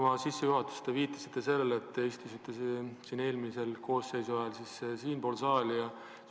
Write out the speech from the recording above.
Oma sissejuhatuses te viitasite sellele, et istusite eelmise koosseisu ajal siinpool saalis.